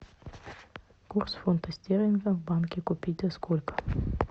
курс фунта стерлинга в банке купить за сколько